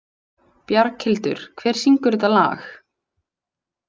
Bjarghildur, hver syngur þetta lag?